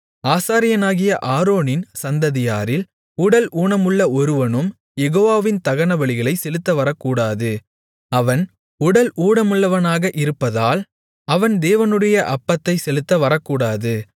ஆசாரியனாகிய ஆரோனின் சந்ததியாரில் உடல் ஊனமுள்ள ஒருவனும் யெகோவாவின் தகனபலிகளைச் செலுத்த வரக்கூடாது அவன் உடல் ஊனமுள்ளவனாக இருப்பதால் அவன் தேவனுடைய அப்பத்தைச் செலுத்த வரக்கூடாது